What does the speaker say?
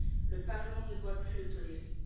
Le Parlement ne doit plus le tolérer.